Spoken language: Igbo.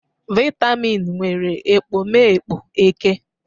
Vitamin nwere ekpomeekpo eke